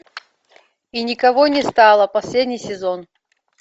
и никого не стало последний сезон